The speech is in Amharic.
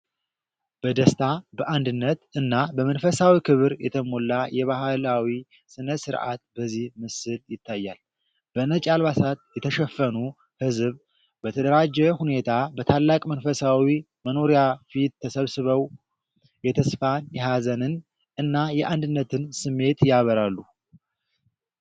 በደስታ፣ በአንድነት እና በመንፈሳዊ ክብር የተሞላ የባህላዊ ስነ-ሥርዓት በዚህ ምስል ይታያል። በነጭ አልባሳት የተሸፈኑ ህዝብ በተደራጀ ሁኔታ በታላቅ መንፈሳዊ መኖሪያ ፊት ተሰብስበው የተስፋን፣ የሀዘንን እና የአንድነትን ስሜት ያበራሉ።